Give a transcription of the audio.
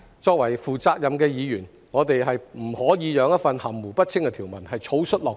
作為負責任的議員，我們不可以讓一項含糊不清的《條例草案》草率落實。